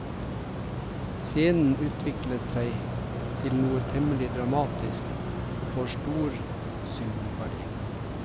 Scenen utvikler seg til noe temmelig dramatisk og får stor symbolverdi.